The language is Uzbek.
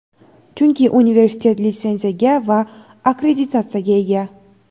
chunki universitet litsenziyaga va akkreditatsiyaga ega.